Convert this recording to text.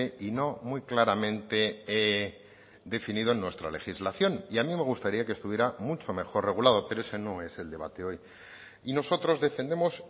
y no muy claramente definido en nuestra legislación y a mí me gustaría que estuviera mucho mejor regulado pero ese no es el debate hoy y nosotros defendemos